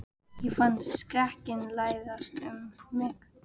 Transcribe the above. Ég fann skrekkinn læsast um mig.